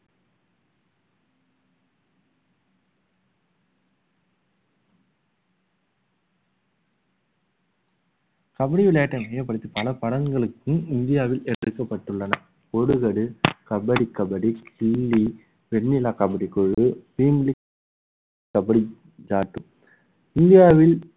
கபடி விளையாட்டை மையப்படுத்தி பல படங்களுக்கும் இந்தியாவில் எடுக்கப்பட்டுள்ளன கபடி கபடி, கில்லி, வெண்ணிலா கபடி குழு, கபடி இந்தியாவில